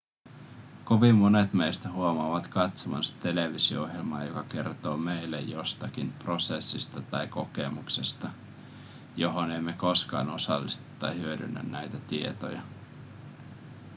kovin monet meistä huomaavat katsovansa televisio-ohjelmaa joka kertoo meille jostakin prosessista tai kokemuksesta johon emme koskaan osallistu tai hyödynnä näitä tietoja